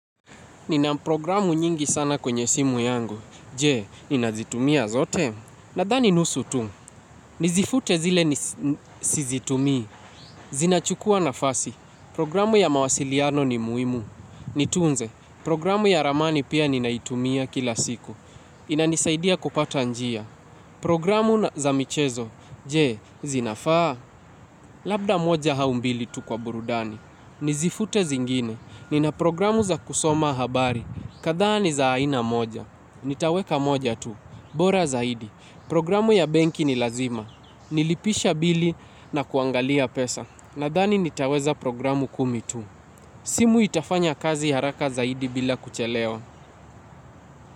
Nina programu nyingi sana kwenye simu yangu. Je, ninazitumia zote. Nadhani nusu tu. Nizifute zile nisi sizitumii. Zinachukua nafasi. Programu ya mawasiliano ni muimu. Nitunze. Programu ya ramani pia ninaitumia kila siku. Inanisaidia kupata njia. Programu na za michezo. Je, zinafaa. Labda moja au mbili tu kwa burudani. Nizifute zingine. Nina programu za kusoma habari. Kadhaa ni za aina moja. Nitaweka moja tu. Bora zaidi. Programu ya benki ni lazima. Nilipisha bili na kuangalia pesa. Nadhani nitaweza programu kumi tu. Simu itafanya kazi haraka zaidi bila kuchelewa.